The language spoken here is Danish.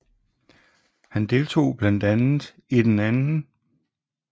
Han deltog blandt andet i den 2